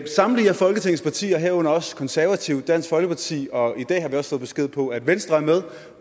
samtlige af folketingets partier herunder også de konservative og dansk folkeparti og i dag har vi også fået besked på at venstre er med